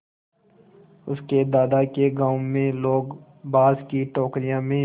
उसके दादा के गाँव में लोग बाँस की टोकरियों में